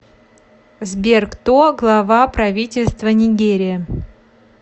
сбер кто глава правительства нигерия